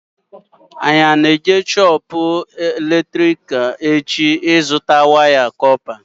Anyị ana-eje shoopu eletrikal echi ịzụta waya ọla kọpa?